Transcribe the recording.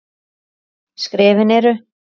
Skrefin eru